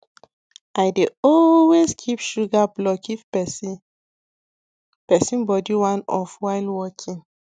i dey always keep sugar block if person person body wan off while working